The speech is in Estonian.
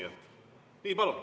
Palun!